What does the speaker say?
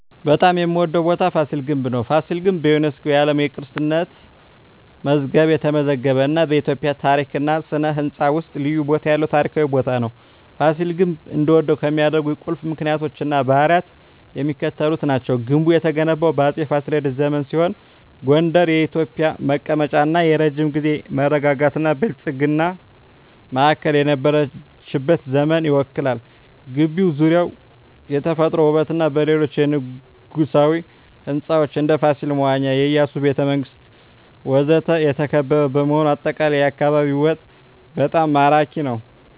በጣም የምዎደው ቦታ ፋሲል ግንብ ነው። ፋሲል ግንብ በዩኔስኮ የዓለም ቅርስነት የተመዘገበ እና በኢትዮጵያ ታሪክ እና ሥነ ሕንፃ ውስጥ ልዩ ቦታ ያለው ታሪካዊ ቦታ ነው። ፋሲል ግንብ እንድወደው ከሚያደርኝ ቁልፍ ምክንያቶች እና ባህሪያት የሚከተሉት ናቸው። ግንቡ የተገነባው በአፄ ፋሲለደስ ዘመን ሲሆን ጎንደር የኢትዮጵያ መቀመጫ እና የረጅም ጊዜ መረጋጋትና ብልጽግና ማዕከል የነበረችበትን ዘመን ይወክላል። ግቢው ዙሪያውን በተፈጥሮ ውበትና በሌሎች የንጉሣዊ ሕንፃዎች (እንደ ፋሲል መዋኛ፣ የኢያሱ ቤተ መንግስት ወዘተ) የተከበበ በመሆኑ አጠቃላይ የአካባቢው ውበት በጣም ማራኪ ነው። …